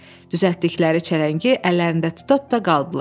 Düzəltdikləri çələngi əllərində tuta-tuta qaldılar.